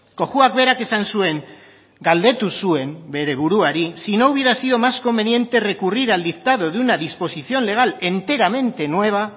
cojuak berak esan zuen galdetu zuen bere buruari si no hubiera sido más conveniente recurrir al dictado de una disposición legal enteramente nueva